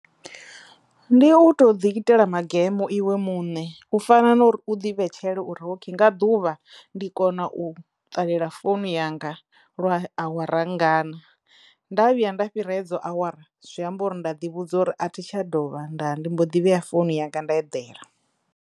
Ndi u to ḓi itela magemo iwe muṋe u fana na uri u ḓi vhetshela uri ok nga ḓuvha ndi kona u ṱalela founu yanga lwa awara nngana nda vhuya nda fhira hedzo awara zwi amba uri nda ḓi vhudza uri a thi tsha dovha nda ndi mbo ḓi vheya founu yanga nda eḓela.